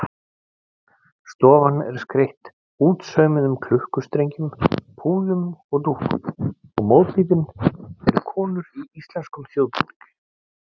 Stofan er skreytt útsaumuðum klukkustrengjum, púðum og dúkum og mótífin eru konur í íslenskum þjóðbúningi.